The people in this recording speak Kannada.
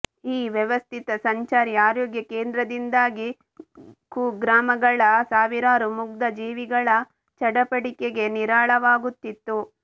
ಈ ವ್ಯವಸ್ಥಿತ ಸಂಚಾರಿ ಆರೋಗ್ಯಕೇಂದ್ರದಿಂದಾಗಿ ಕುಗ್ರಾಮಗಳ ಸಾವಿರಾರು ಮುಗ್ಧ ಜೀವಗಳ ಚಡಪಡಿಕೆಗೆ ನೀರಾಳವಾಗುತ್ತಿತ್ತು